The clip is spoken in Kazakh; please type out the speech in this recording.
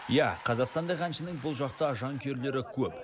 иә қазақстандық әншінің бұл жақта жанкүйерлері көп